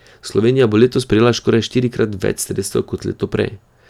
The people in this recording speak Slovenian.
Slovenija bo letos prejela skoraj štirikrat več sredstev kot leto prej.